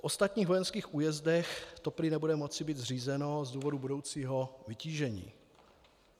V ostatních vojenských újezdech to prý nebude moci být zřízeno z důvodu budoucího vytížení.